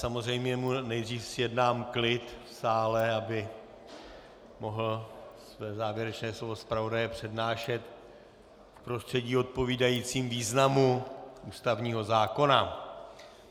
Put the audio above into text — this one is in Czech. Samozřejmě mu nejdřív zjednám klid v sále, aby mohl své závěrečné slovo zpravodaje přednášet v prostředí odpovídajícím významu ústavního zákona.